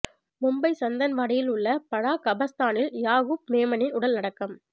மும்பை சந்தன்வாடியில் உள்ள படா கபர்ஸ்தானில் யாகூப் மேமனின் உடல் அடக்கம்